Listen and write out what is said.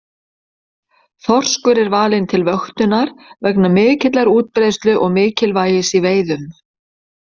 Þorskur er valinn til vöktunar vegna mikillar útbreiðslu og mikilvægis í veiðum.